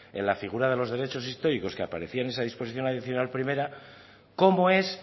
en la figura de los derechos históricos que aparecían en esa disposición adicional primera cómo es